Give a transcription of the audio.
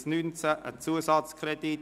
Es handelt sich um einen Zusatzkredit.